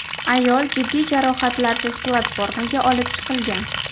Ayol jiddiy jarohatlarsiz platformaga olib chiqilgan.